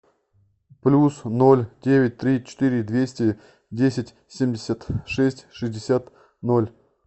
плюс ноль девять три четыре двести десять семьдесят шесть шестьдесят ноль